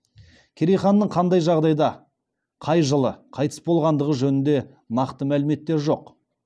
керей ханның қандай жағдайда қай жылы қайтыс болғандығы жөнінде нақты мәліметтер жоқ